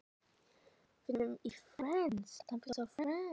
Eins og verið væri að setja í gang vatnsveitu eða taka á móti togara.